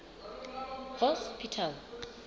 hospital